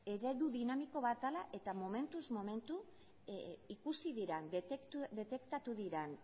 eredu dinamiko bat dela eta momentuz momentu ikusi diren detektatu diren